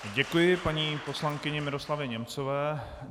Děkuji paní poslankyni Miroslavě Němcové.